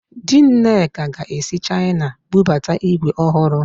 Di Nneka ga-esi Chaịna bubata ígwè ọhụrụ